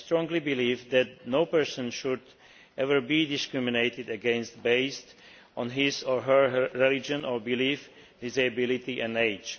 I strongly believe that no person should ever be discriminated against on the basis of his or her religion or belief, disability or age.